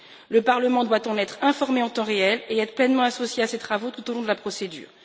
Le Parlement doit en être informé en temps réel et être pleinement associé à ces travaux tout au long de la procédure.